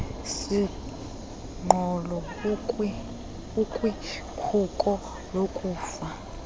siqholo ukwikhuko lokufa